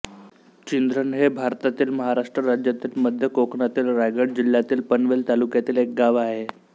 चिंध्रण हे भारतातील महाराष्ट्र राज्यातील मध्य कोकणातील रायगड जिल्ह्यातील पनवेल तालुक्यातील एक गाव आहे